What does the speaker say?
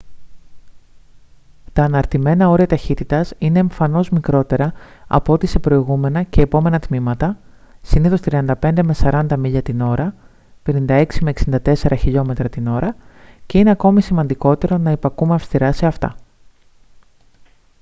τα αναρτημένα όρια ταχύτητας είναι εμφανώς μικρότερα από ό,τι σε προηγούμενα και επόμενα τμήματα –συνήθως 35-40 μίλια/ώρα 56-64 χιλιόμετρα/ώρα και είναι ακόμη σημαντικότερο να υπακούμε αυστηρά σε αυτά